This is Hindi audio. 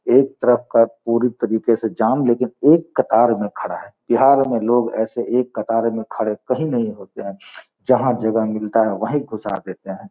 एक तरफ का पूरी तरीके से जाम लेकिन एक कतार में खड़ा है। बिहार में लोग ऐसे एक कतार में खड़े कही नहीं होते है। जहाँ जगह मिलता है वहीं घुसा देते हैं |